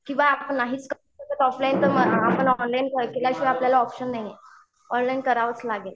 किंवा आपण नाहीच करतो ऑफलाईन आपल्याला ऑनलाईन केल्याशिवाय ऑप्शनच नाहीये. ऑनलाईन करावंच लागेल.